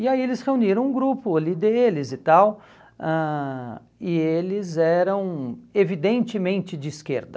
E aí eles reuniram um grupo ali deles e tal, ãh e eles eram evidentemente de esquerda.